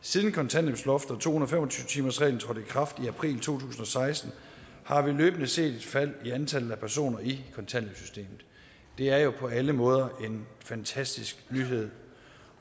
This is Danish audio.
siden kontanthjælpsloftet og to hundrede og fem og tyve timersreglen trådte i kraft i april to tusind og seksten har vi løbende set et fald i antallet af personer i kontanthjælpssystemet det er på alle måder en fantastisk nyhed